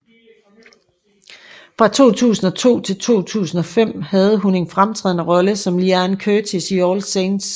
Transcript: Fra 2002 til 2005 havde hun en fremtrædende rolle som Leanne Curtis i All Saints